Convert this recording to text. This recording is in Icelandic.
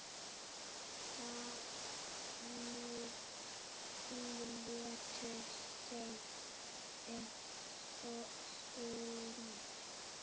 Þannig létu þeir um stund.